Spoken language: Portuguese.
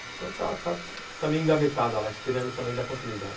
Então está meio engavetada lá, esperando também da continuidade.